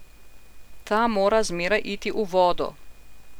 Ta mora zmeraj iti v vodo!